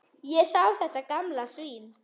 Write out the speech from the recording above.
Að sjá þetta gamla svín.